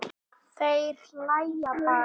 Þeir hlæja bara.